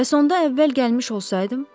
Bəs onda əvvəl gəlmiş olsaydım?